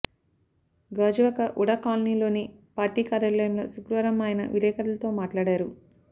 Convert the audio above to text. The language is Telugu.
గాజువాక వుడా కాలనీలోని పార్టీ కార్యాలయంలో శుక్రవారం ఆయన విలేకరులతో మాట్లాడారు